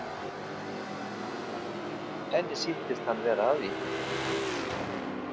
Henni sýndist hann vera að því.